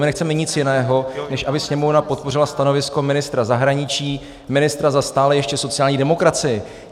My nechceme nic jiného, než aby Sněmovna podpořila stanovisko ministra zahraničí, ministra za stále ještě sociální demokracii.